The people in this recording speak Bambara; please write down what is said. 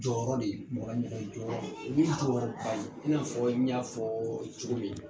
Jɔyɔrɔ de ye, mɔgɔra ɲɛrɛ jɔyɔrɔ i b'i ha wɔri ba i n'a fɔ n y'a fɔɔ cogo min